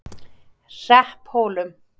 Hrepphólum